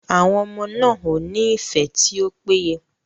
Àwọn ọmọ náà o ni ifẹ ti o péye.